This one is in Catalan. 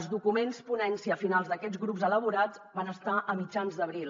els documents ponència finals d’aquests grups elaborats van estar a mitjans d’abril